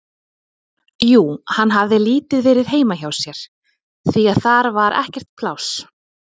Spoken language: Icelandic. Jú, hann hafði lítið verið heima hjá sér, því að þar var ekkert pláss.